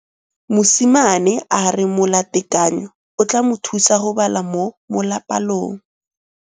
Mosimane a re molatekanyô o tla mo thusa go bala mo molapalong.